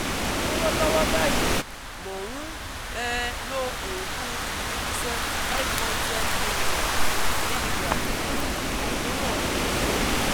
Lọ́wọ́lọ́wọ́ báyìí, mò ń um lo oògùn Jupice five hundred milligram milligram fún àkóràn ọ̀fun